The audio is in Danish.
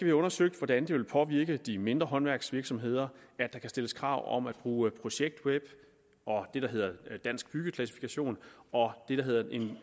have undersøgt hvordan det vil påvirke de mindre håndværksvirksomheder at der kan stilles krav om at bruge projektweb og det der hedder dansk byggeklassifikation og det der hedder en